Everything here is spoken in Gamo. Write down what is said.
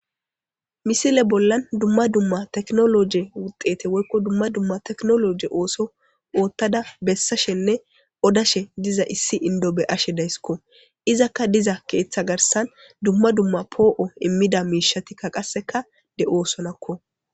Misile bollan dumma dumma teknologe wuxete woykko dumma dumma teknologe ooso oottada bessashenne odashe diza issi indobe ashe daysskko izakka diza keeththa garsan dumma dumma poo7o immida miishatikka qasseka de7oosonakko.